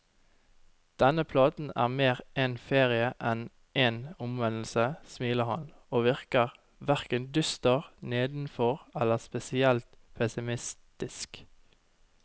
Denne platen er mer en ferie enn en omvendelse, smiler han, og virker hverken dyster, nedfor eller spesielt pessimistisk.